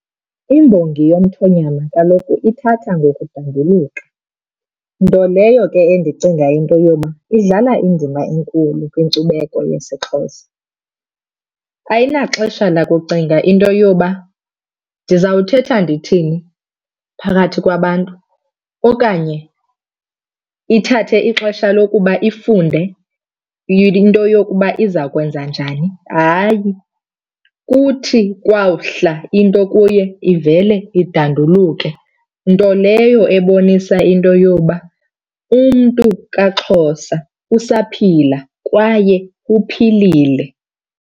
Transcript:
Imbongi yomthonyama kaloku ithatha ngokudanduluka, nto leyo ke endicinga into yoba idlala indima enkulu kwinkcubeko yesiXhosa. Ayinaxesha lakucinga into yoba ndizawuthetha ndithini phakathi kwabantu okanye ithathe ixesha lokuba ifunde into yokuba iza kwenza njani, hayi. Kuthi kwawuhla into kuye ivele idanduluke, nto leyo ebonisa into yoba umntu kaXhosa usaphila kwaye uphilile.